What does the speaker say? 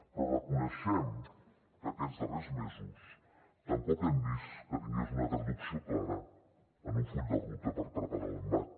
però reconeixem que aquests darrers mesos tampoc hem vist que tingués una traducció clara en un full de ruta per preparar l’embat